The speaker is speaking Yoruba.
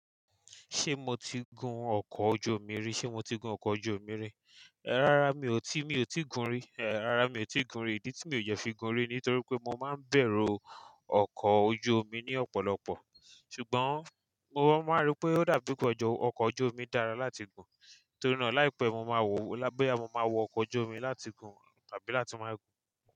Ṣé mo ti gun ọkọ̀ ojú omi rí? Ṣé mo ti gun ọkọ̀ ojú omi rí? Rárá mi ò tí, mi ò tí gun rí. Eh, rárá mi ò tí gun rí. Ìdí tí mi ò dẹ fi gun rí nítorí pé mo máa ń bẹ̀rù ọkọ̀ ojú omi ni ọ̀pọ̀lọpọ̀. Ṣùgbọ́n mo máa n rí pé ó dàbí pé ọkọ̀ ojú omi dára láti gun. Torí náà láìpẹ́, mo máa wòó lá boyà mo máa wo ọkọ̀ ojú omi láti gun tàbí láti máa gun.